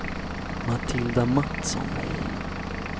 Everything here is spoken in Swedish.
Matilda Matsson